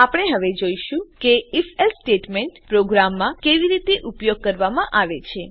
આપણે હવે જોઈશું કે ifએલ્સે સ્ટેટમેંટ પ્રોગ્રામમાં કેવી રીતે ઉપયોગ કરવામાં આવે છે